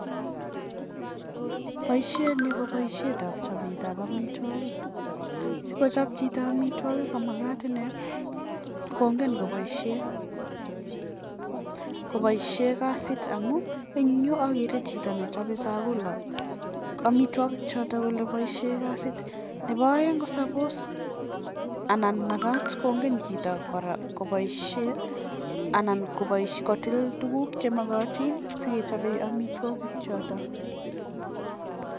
poishet ni kopaisheet nepoo chopeet ap amitwagiik nepo aeeng olekomagat kongen chito olekiyaitaii